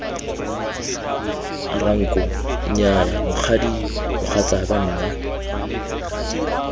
ranko nnyaya mokgadi mogatsaka nna